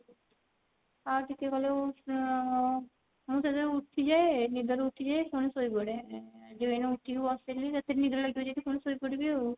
ଆଉ ଟିକେ ଗଲେ ଉଁ ମୁଁ ତ ଯଉ ଉଠିଯାଏ ନିଦ ରୁ ଉଠିଯାଏ ପୁଣି ଶୋଇପଡେ ଏଇନା ଉଠିକି ବସିଲି ଯଦି ନିଦ ଲାଗିବ ଯଦି ପୁଣି ଶୋଇପଡିବି ଆଉ